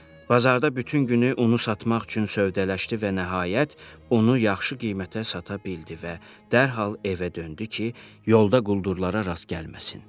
Bazarda bütün günü unu satmaq üçün sövdələşdi və nəhayət unu yaxşı qiymətə sata bildi və dərhal evə döndü ki, yolda quldurlara rast gəlməsin.